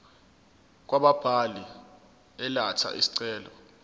kwababili elatha isicelo